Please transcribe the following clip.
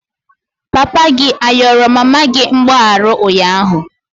Papa gi ayọrọ mama gị mgbaghara ụnyahụ?